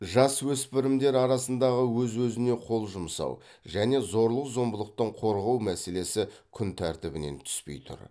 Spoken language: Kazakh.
жасөспірімдер арасындағы өз өзіне қол жұмсау және зорлық зомбылықтан қорғау мәселесі күнтәртібінен түспей тұр